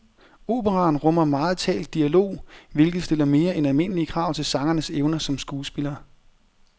Operaen rummer megen talt dialog, hvilket stiller mere end almindelige krav til sangernes evner som skuespiller.